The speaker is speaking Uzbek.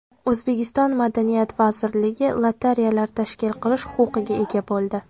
O‘zbekiston Madaniyat vazirligi lotereyalar tashkil qilish huquqiga ega bo‘ldi.